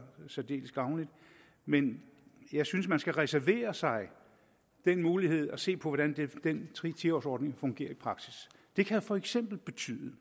særdeles gavnlig men jeg synes man skal reservere sig den mulighed at se på hvordan den ti års ordning fungerer i praksis det kan for eksempel betyde at